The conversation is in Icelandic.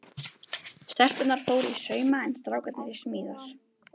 Stelpurnar fóru í sauma en strákarnir í smíðar.